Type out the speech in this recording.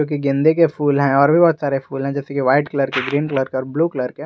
गेंदे के फूल हैं और भी बहुत सारे फूल हैं जैसे कि व्हाइट कलर के ग्रीन कलर का ब्लू कलर का --